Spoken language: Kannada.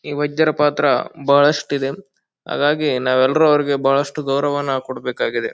ಈ ವೈದ್ಯರ ಪಾತ್ರ ಬಹಳಷ್ಟು ಇದೆ. ಹಾಗಾಗಿ ನಾವು ಎಲ್ರು ಅವ್ರಿಗೆ ಬಹಳಷ್ಟು ಗೌರವನ್ನ ಕೊಡಬೇಕಾಗಿದೆ.